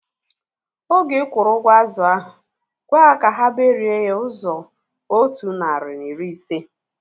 Oge ikwuru ụgwọ azụ ahu, gwaa ha ka ha berie ya ụzọ otu narị na iri ise